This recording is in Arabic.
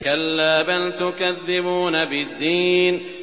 كَلَّا بَلْ تُكَذِّبُونَ بِالدِّينِ